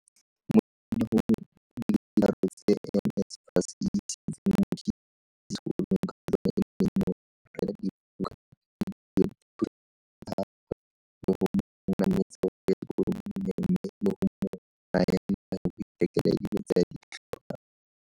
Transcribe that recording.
Mo dingwageng di le tharo tse NSFAS e isitseng Mkhize sekolong ka tsona e ne e mo rekela dibuka, e duela dithuto tsa gagwe le go mo nametsa go ya sekolong mmogo le go mo naya madi a go ithekela dilo tse a di tlhokang.